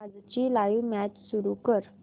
आजची live match सुरू कर